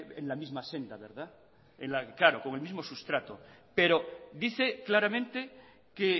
en la misma senda claro con el mismo sustrato pero dice claramente que